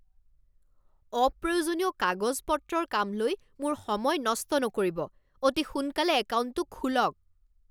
অপ্ৰয়োজনীয় কাগজ পত্ৰৰ কাম লৈ মোৰ সময় নষ্ট নকৰিব। অতি সোনকালে একাউণ্টটো খোলক!